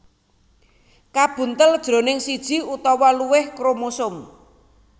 kabuntel jroning siji utawa luwih kromosom